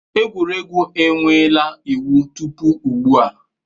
Egwuregwu enweela iwu tupu ugbu a.